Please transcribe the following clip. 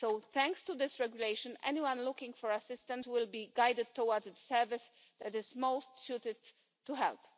Thanks to this regulation, anyone looking for assistance will be guided towards the service that is most suited to help.